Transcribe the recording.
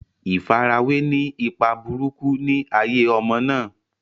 ìfarawé ni ipa burúkú ni ayé ọmọ náà.